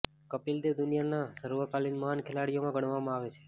કપિલ દેવ દુનિયાના સર્વકાલિન મહાન ખેલાડીઓમાં ગણવામાં આવે છે